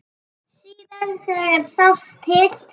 Síðast þegar sást til